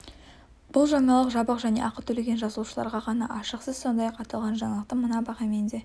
бұл жаңалық жабық және ақы төлеген жазылушыларға ғана ашық сіз сондай-ақ аталған жаңалықты мына бағамен де